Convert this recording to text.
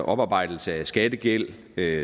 oparbejdelse af skattegæld og